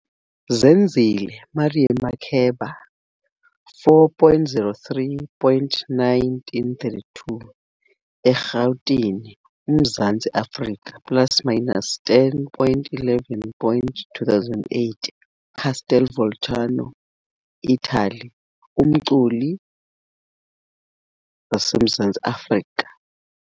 Zenzile, Miriam Makeba 4.03.1932, eRhawutini, uMzantsi Afrika -† 10.11.2008, Castel Volturno, Ithali, - umculi waseMzantsi Afrika.